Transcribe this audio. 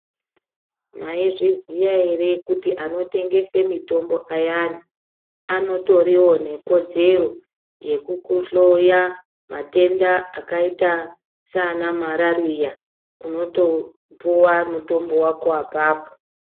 Mwaizviziya ere kuti anotengese mitombo ayano anotoriwo nekodzero yekukuhloya matenda akaita sana marariya unotopuwa mutombo wako apapo.